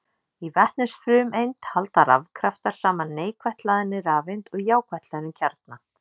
Í vetnisfrumeind halda rafkraftar saman neikvætt hlaðinni rafeind og jákvætt hlöðnum kjarna.